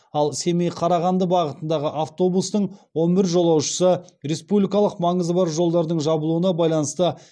ал семей қарағанды бағытындағы автобустың он бір жолаушысы республикалық маңызы бар жолдардың жабылуына байланысты